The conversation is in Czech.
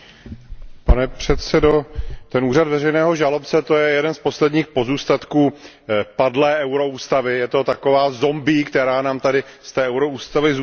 Pane předsedající, úřad veřejného žalobce je jedním z posledních pozůstatků padlé euroústavy, je to taková zombie, která nám tady z euroústavy zůstala.